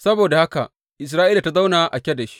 Saboda haka Isra’ila ta zauna a Kadesh.